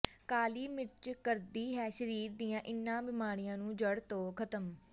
ਕਾਲੀ ਮਿਰਚ ਕਰਦੀ ਹੈ ਸਰੀਰ ਦੀਆਂ ਇਨ੍ਹਾਂ ਬੀਮਾਰੀਆਂ ਨੂੰ ਜੜ੍ਹ ਤੋਂ ਖਤਮ